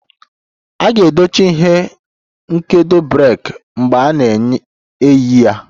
A ga-edochi ihe nkedo breeki mgbe a na-eyi ya